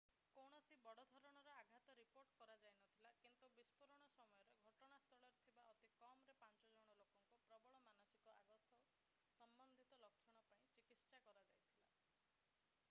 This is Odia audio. କୌଣସି ବଡ଼ ଧରଣର ଆଘାତ ରିପୋର୍ଟ କରାଯାଇନଥିଲା କିନ୍ତୁ ବିସ୍ଫୋରଣ ସମୟରେ ଘଟଣାସ୍ଥଳରେ ଥିବା ଅତି କମରେ ପାଞ୍ଚ ଜଣ ଲୋକଙ୍କୁ ପ୍ରବଳ ମାନସିକ ଆଘାତ ସମ୍ବନ୍ଧିତ ଲକ୍ଷଣ ପାଇଁ ଚିକିତ୍ସା କରାଯାଇଥିଲା